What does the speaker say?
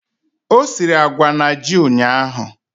O siri agwa na ji ụnyahụ?